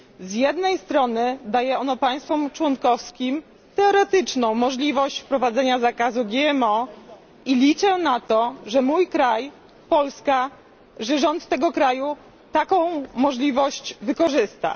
Z jednej strony daje ono państwom członkowskim teoretyczną możliwość wprowadzenia zakazu GMO i liczę na to, że mój kraj, Polska, że rząd tego kraju, taką możliwość wykorzysta.